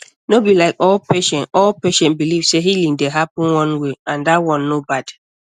like no be all patient all patient believe say healing dey happen one way and that one no bad